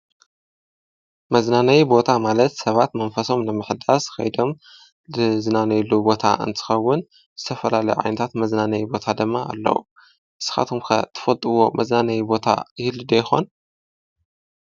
መዝናነይ ቦታ ማለት ሰባት መንፈሶም ለምሕዳስ ኸይዶም ድ ዝናነይሉ ቦታ እንትኸውን ዝተፈላለ ዓይንታት መዝናነይ ቦታ ደማ ኣለዉ ንስኻቶምከ ትፈጥዎ መዝናነይ ቦታ ህልዶ ይኾን።